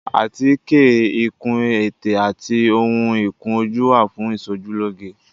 Àtíkè, ìkun ètè àti ohun ìkun ojú wà fún ìsojú lóge.